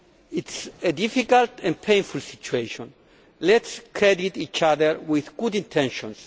It is a difficult and painful situation. Let us credit each other with good intentions.